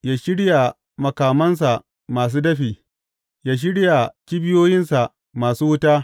Ya shirya makamansa masu dafi; ya shirya kibiyoyinsa masu wuta.